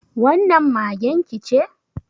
Wannan magen ki ce?